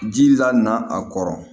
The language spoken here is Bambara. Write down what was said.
Ji la na a kɔrɔ